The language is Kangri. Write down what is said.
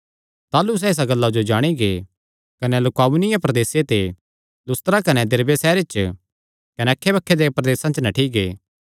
ताह़लू सैह़ इसा गल्ला जो जाणी गै कने लुकाऊनिया प्रदेसे दे लुस्त्रा कने दिरबे सैहरां च कने अक्खैबक्खे देयां प्रदेसां च नठ्ठी गै